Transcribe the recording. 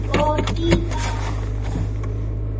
Og síðan sex?